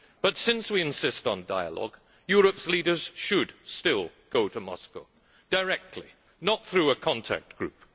But since we insist on dialogue, Europe's leaders should still go to Moscow directly, not through a contact group.